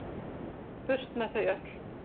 Burt með þau öll.